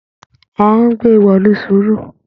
Ahún gbé e wọ̀lú sùúrù.